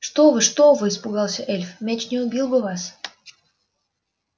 что вы что вы испугался эльф мяч не убил бы вас